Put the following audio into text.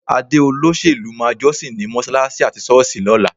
Adé olóṣèlú máa jọ́sìn ní mọ́ṣáláṣí àti ṣọ́ọ̀ṣì lọ́la.